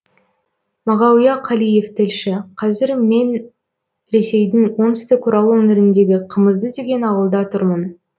мағауия қалиев тілші қазір мен ресейдің оңтүстік орал өңіріндегі қымызды деген ауылда тұрмын